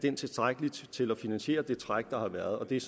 er tilstrækkelig til at finansiere det træk der har været det er